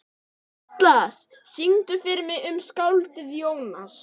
Atlas, syngdu fyrir mig „Um skáldið Jónas“.